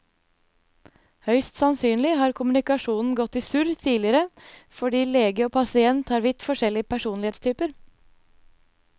Høyst sannsynlig har kommunikasjonen gått i surr tidligere fordi lege og pasient har vidt forskjellig personlighetstyper.